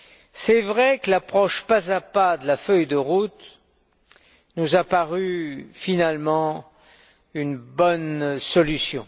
Il est vrai que l'approche pas à pas de la feuille de route nous a parue finalement une bonne solution.